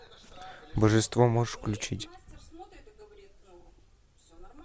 божество можешь включить